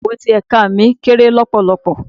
Ìyàrá Ikàwé ti ẹ̀ka mi kéré lọpọlọpọ.